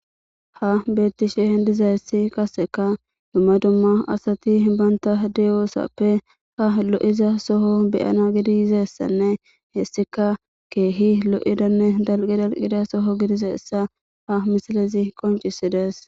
ha beettishe dizayssi kaseka dumma dumma asati banta deyoosappe ha lo7iza soho beyana gidiyizessanne hessika keehi lo7idanne dalqi dalqida soho gidizaessa ha misilezi qoncisidees